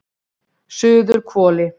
Suðurhvoli